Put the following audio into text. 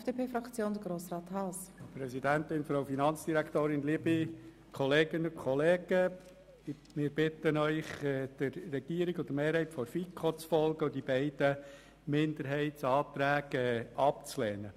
Ich bitte Sie, der Regierung und der FiKo-Mehrheit zu folgen und die beiden Minderheitsanträge abzulehnen.